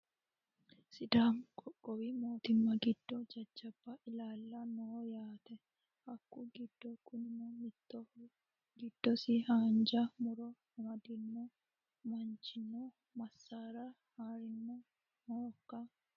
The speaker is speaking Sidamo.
Sidaammu qoqqowwi moottima giddo jajjabba illala noo yaate hakku giddo Kunino mittoho giddosi haanija murro amaddino manichino massara harranni noohoka?